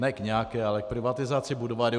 Ne k nějaké, ale k privatizaci Budvaru.